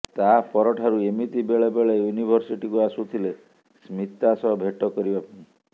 ତାପର ଠାରୁ ଏମିତି ବେଳେବେଳେ ୟୁନିଭର୍ସିଟିକୁ ଆସୁଥିଲେ ସ୍ମିତା ସହ ଭେଟ କରିବା ପାଇଁ